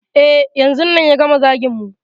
E, yanzun nan ya gama zagin mu.